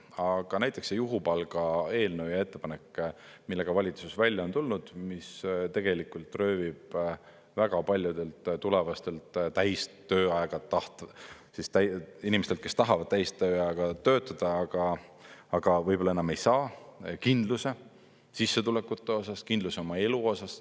Aga näiteks juhupalga eelnõu ja ettepanek, millega valitsus välja on tulnud, mis tegelikult röövib väga paljudelt inimestelt, kes tahavad täistööajaga töötada, aga võib-olla enam ei saa, kindluse sissetulekute osas, kindlus oma elu osas.